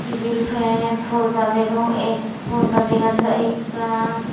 tibil pen porda degong ek porda dega jai ekkan.